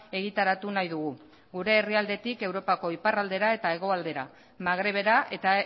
egitaratu nahi dugu gure herrialdetik europako iparraldera eta hegoaldera magrebera eta